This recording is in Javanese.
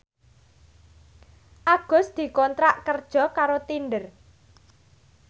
Agus dikontrak kerja karo Tinder